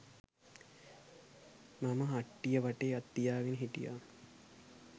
මම හට්ටිය වටේ අත් තියාගෙන හිටියා.